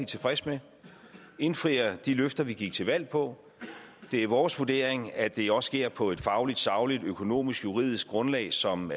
tilfreds med og som indfrier de løfter vi gik til valg på det er vores vurdering at det også sker på et fagligt sagligt økonomisk og juridisk grundlag som